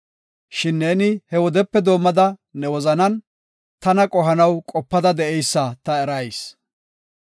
Shin neeni he wodepe doomada ne wozanan tana qohanaw qopada de7eysa ta erayis.